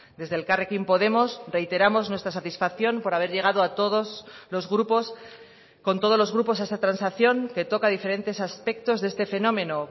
desde elkarrekin podemos reiteramos nuestra satisfacción por haber llegado a todos los grupos con todos los grupos a esa transacción que toca diferentes aspectos de este fenómeno